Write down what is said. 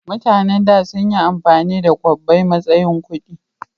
mutanen da sunyi amfani da kwabbai matsayin kudi